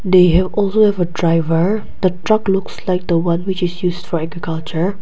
they have also have a driver the truck looks like the one which is used straight the counter.